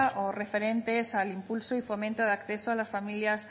o referentes al impulso y fomento de acceso a las familias